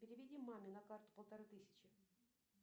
переведи маме на карту полторы тысячи